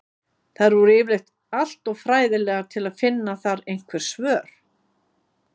Þær voru yfirleitt alltof fræðilegar til að finna þar einhver svör.